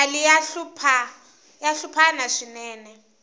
mali ya hluphana swinene